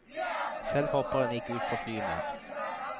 Selv hopper han ikke ut fra fly mer.